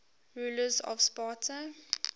rulers of sparta